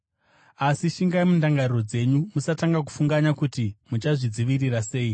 Asi shingai mundangariro dzenyu, musatanga kufunganya kuti muchazvidzivirira sei.